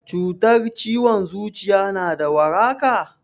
Cutar ciwon zuciya na da waraka?